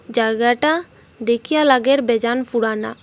জায়গাটা দেখিয়া লাগের বেজান পুরানা।